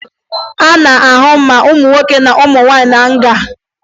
A na-ahụ ma ụmụ nwoke ma ụmụ nwaanyị na nga